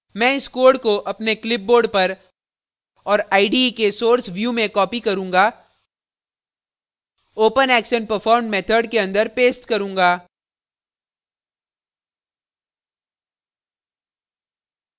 मैं इस code को अपने clipboard पर और ide के source view में copy करूँगा openactionperformed method के अंदर paste करूँगा